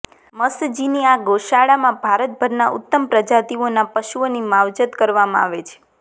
મ્છઁજીની આ ગૌશાળામાં ભારતભરના ઉત્તમ પ્રજાતિઓના પશુઓની માવજત કરવામાં આવે છે